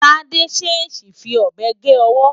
Tádé ṣèèṣì fi ọ̀bẹ gé ọwọ́.